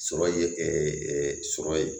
Sɔrɔ ye sɔrɔ ye